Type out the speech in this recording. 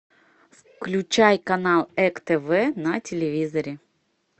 включай канал эк тв на телевизоре